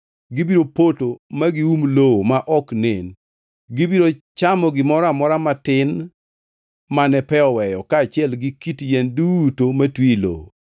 Gibiro poto ma gium lowo ma ok nen. Gibiro chamo gimoro amora matin mane pe oweyo kaachiel gi kit yien duto matwi e lowo.